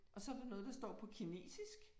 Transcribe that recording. Og så der noget der står på kinesisk